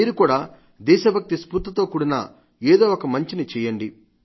మీరు కూడా దేశభక్తి స్ఫూర్తితో కూడిన ఏదో ఒక మంచిని చేయండి